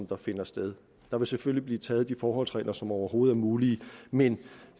der finder sted der vil selvfølgelig blive taget de forholdsregler som overhovedet er mulige men